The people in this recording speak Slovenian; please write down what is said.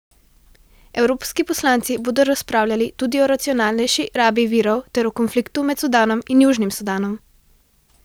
Evropski poslanci bodo razpravljali tudi o racionalnejši rabi virov ter o konfliktu med Sudanom in Južnim Sudanom.